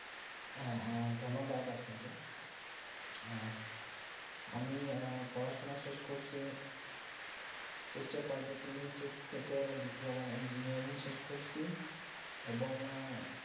হ্যাঁ ধন্যবাদ আপনা কে হ্যা আমি আহ পড়াশোনা শেষ করছি কুরসেপর্যদীপ university থেকে diploma in engineering শেষ করছি এবং